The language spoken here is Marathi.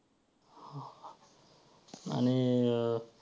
आणि अं